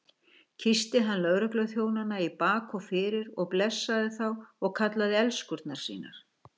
Kyssti hann lögregluþjónana í bak og fyrir og blessaði þá og kallaði elskurnar sínar.